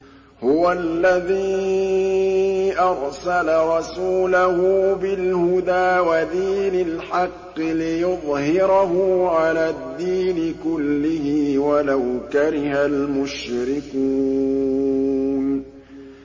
هُوَ الَّذِي أَرْسَلَ رَسُولَهُ بِالْهُدَىٰ وَدِينِ الْحَقِّ لِيُظْهِرَهُ عَلَى الدِّينِ كُلِّهِ وَلَوْ كَرِهَ الْمُشْرِكُونَ